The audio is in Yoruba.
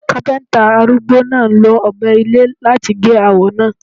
Kápẹ́ńtà arúgbó náà lo Ọ̀bẹ ilé láti gé awọ náà.